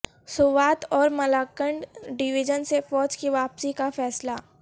سوات اور ملاکنڈ ڈویژن سے فوج کی واپسی کا فیصلہ